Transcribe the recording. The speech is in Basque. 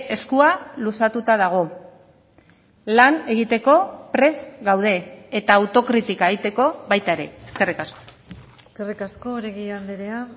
eskua luzatuta dago lan egiteko prest gaude eta autokritika egiteko baita ere eskerrik asko eskerrik asko oregi andrea